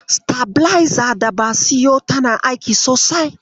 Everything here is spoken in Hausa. Sitabilezar daba siyo tana aiki sosai.